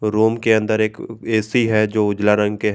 Room के अंदर एक ए_सी है जो उजला रंग के है।